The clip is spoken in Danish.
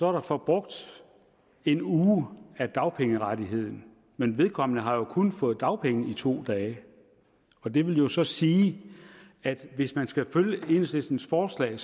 er der forbrugt en uge af dagpengerettigheden men vedkommende har jo kun fået dagpenge i to dage og det vil jo så sige at hvis man skal følge enhedslistens forslag